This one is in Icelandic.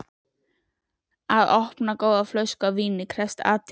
Að opna góða flösku af víni krefst athygli.